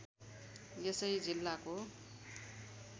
यसै जिल्लाको